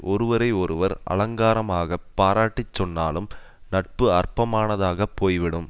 ஒருவரை ஒருவர் அலங்காரமாகப் பாராட்டிச் சொன்னாலும் நட்பு அற்பமானதாகப் போய்விடும்